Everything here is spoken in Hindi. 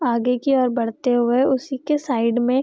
आगे की ओर बढ़ते हुए उसी के साइड मे --